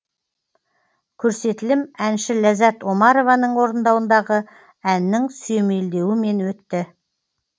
көрсетілім әнші ляззат омарованың орындауындағы әннің сүйемелдеуімен өтті